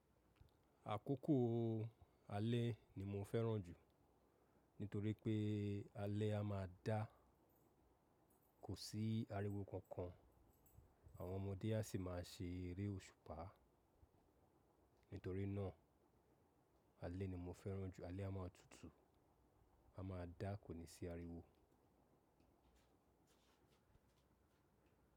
Àkókò alẹ́ ni mo fẹ́ràn jù nítorí pé alẹ́ a máa da, kò sí ariwo kankan, àwọn ọmọdé á sì máa ṣe eré òṣùpá. Nítorí náà alẹ́ ni mo fẹ́ràn jù, alẹ́ a máa tutù, a máa dá kò ní sí ariwo.